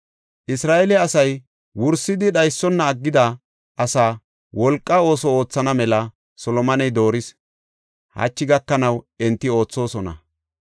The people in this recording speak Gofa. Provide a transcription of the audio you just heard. Isra7eele asay wursidi dhaysona aggida asaa wolqa ooso oothana mela Solomoney dooris; hachi gakanaw enti oothosona.